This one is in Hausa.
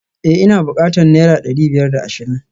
Eh ina bukatan naira dari biyar da ashirin